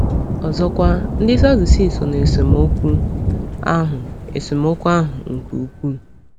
Ọzọkwa, ndị Sadusii so na esemokwu ahụ esemokwu ahụ nke ukwuu.